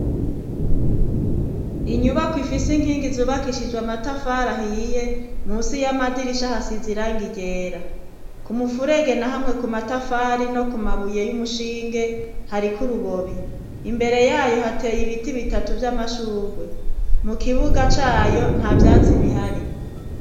Inyubakwa ifise inkingi zubakishijwe amatafari ahiye munsi y'amadirisha hasize irangi ryera ku mufurege na hamwe ku matafari no ku mabuye y'umushinge hari kurubobi imbere yayo hateye ibiti bitatu by'amashugwe mu kibuga c'ayo nta vyatsi bihari.